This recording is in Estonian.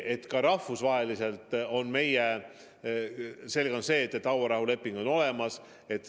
Ja selge on see, et hauarahuleping on olemas.